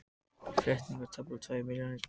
Flettingar voru tæplega tvær milljónir.